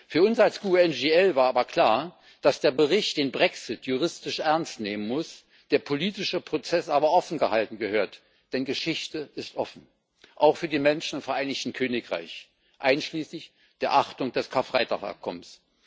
Für uns als GUE NGL war aber klar, dass der Bericht den Brexit juristisch ernst nehmen muss, der politische Prozess aber offengehalten gehört. Denn Geschichte ist offen, auch für die Menschen im Vereinigten Königreich, einschließlich der Achtung des Karfreitag Abkommens.